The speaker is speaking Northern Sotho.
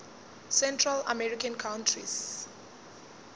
central american countries